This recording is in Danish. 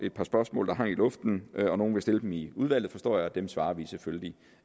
et par spørgsmål der hang i luften nogle vil stille dem i udvalget forstår jeg og dem svarer vi selvfølgelig